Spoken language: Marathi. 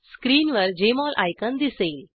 स्क्रीनवर जेएमओल आयकॉन दिसेल